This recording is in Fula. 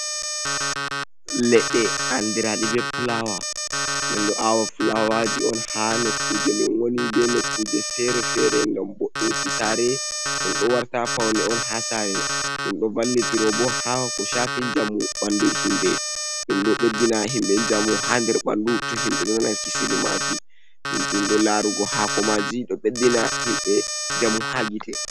Leɗɗe andiraɗi be plawa ɗin ɗo awa plawaji on ha nokku je min woni be nokkuje fere-fere ngam bo inki sare ɗum ɗo warta paune on ha sare ɗum do vallitiro bo ha ko shafi njamu ɓandu himɓe ɗum ɗo beddina himɓe njamu ha nder ɓandu to himɓe donalki kisirmaji ɗum ɗo larugo ha ko maji do ɓeɗɗina himɓe njamu ha gite